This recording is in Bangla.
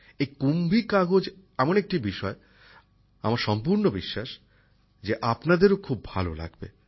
এই কুম্ভী কাগজ এমন একটি বিষয় আমার সম্পূর্ণ বিশ্বাস যে আপনাদেরও খুব ভালো লাগবে